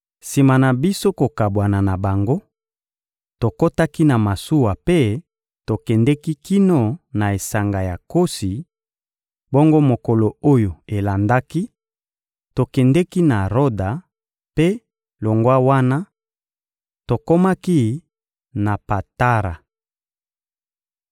Sima na biso kokabwana na bango, tokotaki na masuwa mpe tokendeki kino na esanga ya Kosi; bongo mokolo oyo elandaki, tokendeki na Roda mpe, longwa wana, tokomaki na Patara.